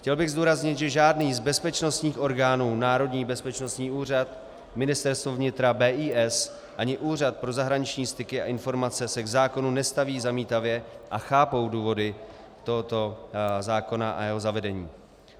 Chtěl bych zdůraznit, že žádný z bezpečnostních orgánů, Národní bezpečnostní úřad, Ministerstvo vnitra, BIS ani Úřad pro zahraniční styky a informace se k zákonu nestaví zamítavě a chápou důvody tohoto zákona a jeho zavedení.